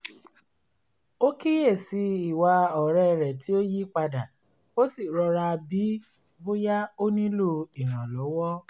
ó kíyè sí i ìwà ọ̀rẹ́ rẹ̀ tí ó yí padà ó sì rọra bií bóyá ó nílò ìrànlọ́wọ́